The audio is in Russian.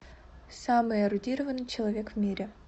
самый эрудированный человек в мире